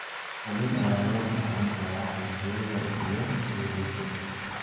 Qaliin ayaa loo baahan karaa qanjidhada iyo scoliosis.